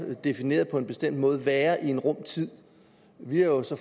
defineret på en bestemt måde være i en rum tid vi har jo så